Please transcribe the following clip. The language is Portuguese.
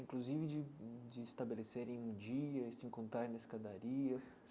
inclusive de de estabelecerem um dia e se encontrarem na escadaria?